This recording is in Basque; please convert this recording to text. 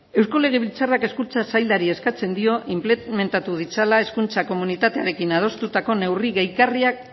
eusko legebiltzarrak hezkuntza saialari eskatzen dio inplementatu ditzala hezkuntza komunitatearekin adostutako neurri gehigarriak